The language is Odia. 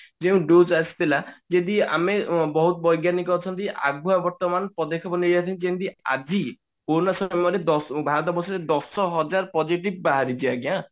ଯେଉଁ dose ଆସିଥିଲା ଯଦି ଆମେ ବହୁତ ବୈଜ୍ଞାନିକ ଅଛନ୍ତି ଆଗୁଆ ବର୍ତମାନ ପଦେକ୍ଷେପ ନେଇ ଯେମିତି ଆଜି କୋରୋନା ସମୟରେ ଦଶ ଭାରତବର୍ଷ ରେ ଦଶ ହଜାର positive ବାହାରିଛି ଆଜ୍ଞା